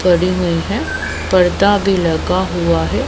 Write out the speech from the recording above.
पड़ी हुई हैं पर्दा भीं लगा हुआ हैं।